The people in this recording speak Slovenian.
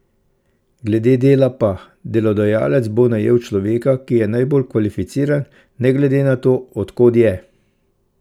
Glede dela pa, delodajalec bo najel človeka, ki je najbolj kvalificiran, ne glede na to, od kod je.